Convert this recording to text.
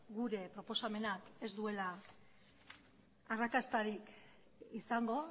gure proposamenak ez duela arrakastarik izango